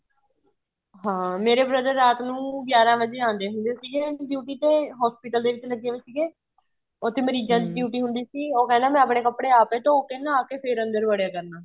ਹਾਂ ਮੇਰੇ brother ਰਾਤ ਨੂੰ ਗਿਆਰਾਂ ਵਜ਼ੇ ਆਂਦੇ ਹੁੰਦੇ ਸੀਗੇ duty ਤੇ hospital ਦੇ ਵਿੱਚ ਲੱਗੇ ਹੋਏ ਸੀਗੇ ਉਥੇ ਮਰੀਜਾਂ ਦੀ duty ਹੁੰਦੀ ਸੀਗੀ ਉਹ ਕਹਿੰਦਾ ਮੈਂ ਆਪਣੇ ਕੱਪੜੇ ਆਪ ਧੋਹ ਕੇ ਨਹਾਹ ਕੇ ਫ਼ੇਰ ਅੰਦਰ ਵੜਿਆ ਕਰਨਾ